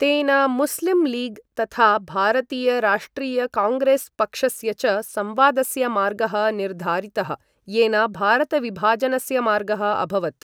तेन मुस्लिम् लीग् तथा भारतीयराष्ट्रियकाङ्ग्रेस् पक्षस्य च संवादस्य मार्गः निर्धारितः, येन भारतविभाजनस्य मार्गः अभवत्।